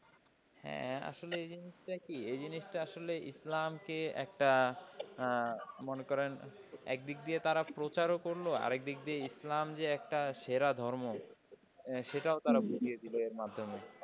হ্যাঁ আসলে এই জিনিসটা কি এই জিনিসটা আসলে ইসলামকে একটা মনে করেন একদিকে দিয়ে তারা প্রচারও করলো। আর একদিকে দিয়ে ইসলাম যে একটা সেরা ধর্ম সেটাও তারা বুঝিয়ে দিল এর মাধ্যমে।